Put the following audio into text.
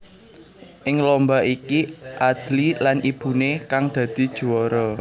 Ing lomba iki Adly lan ibuné kang dadi juwara